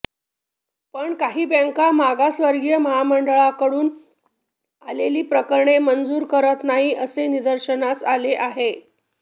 पण काही बँका मागासवर्गीय महामंडळांकडून आलेली प्रकरणे मंजूर करत नाहीत असे निदर्शनास आले आहे